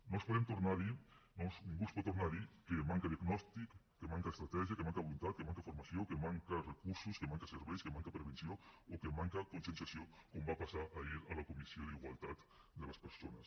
no els podem tornar a dir ningú els pot tornar a dir que manca diagnòstic que manca estratègia que manca voluntat que manca formació que manquen recursos que manquen serveis que manca prevenció o que manca conscienciació com va passar ahir a la comissió d’igualtat de les persones